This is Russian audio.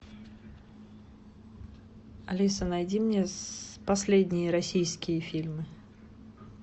алиса найди мне последние российские фильмы